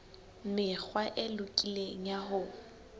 mekgwa e lokileng ya ho